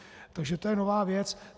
Takže to je nová věc.